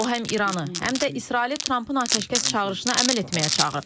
O həm İranı, həm də İsraili Trampın atəşkəs çağırışına əməl etməyə çağırıb.